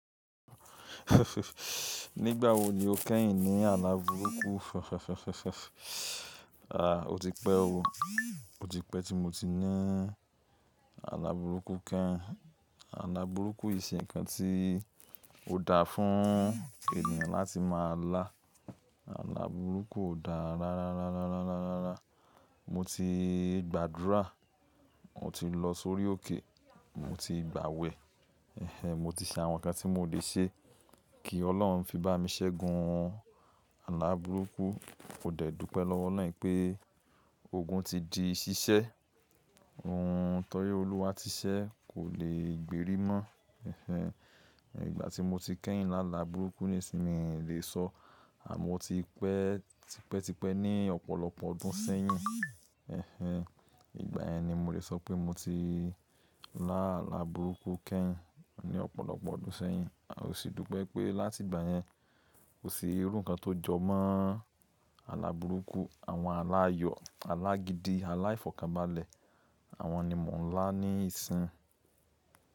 Nígbà wo ni o kẹ́yìn ní àlà burúkú? Aà, o ti pẹ́ o. O ti pẹ́ tí mo ti ní àlà burúkú keyin. Àlà burúkú kìn se kan tí ó dáa fún ènìyàn láti máa lá. Àlà burúkú ò dáa rárá, rárá, rárá, rárá, rárá. Mo ti gbàdúrà, mo ti lọ sórí òkè, mo ti gbàwẹ̀, ẹh ẹh mo ti ṣe àwọn nǹkan tí mo lè ṣe kí Ọlọ́run fi bá mi ṣẹ́gun àlà burúkú. Mò dẹ́ẹ̀ dúpẹ́ lọ́wọ́ olorun wìpẹ́ ogun ti di ṣíṣẹ́. Ohun tọ́rí Olúwa ti ṣẹ́, kò lè gbèrè mọ́. Ẹh ẹh, ìgbà tí mo ti kẹ́yìn láàlà burúkú nísìí mi lè sọ. Àmọ́ mo ti pẹ́, tipẹ́, tipẹ́ ní ọ̀pọ̀lọpọ̀ ọdún sẹ́yìn. Ẹh ẹh, ìgbà yẹn ni mo lè sọ pé mo ti lá àlà burúkú kenyin ní ọ̀pọ̀lọpọ̀ ọdún sẹ́yìn. A ò sì dúpẹ́ pé láti ìgbà yẹn, kò sí irú nǹkan tó jọmọ́ àlà burúkú. Àwọn àlà ayọ̀, àlà gidi, àlà ìfọ̀kànbalẹ̀, àwọn ni mò ń lá ní ìsìn.